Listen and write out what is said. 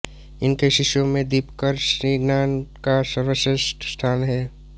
इनके शिष्यों में दीपंकर श्रीज्ञान का सर्वश्रेष्ठ स्थान है